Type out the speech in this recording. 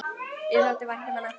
Mér þótti vænt um hana.